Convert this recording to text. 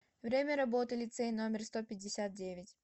время работы лицей номер сто пятьдесят девять